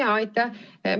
Jaa, aitäh!